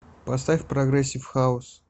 поставь прогрессив хаус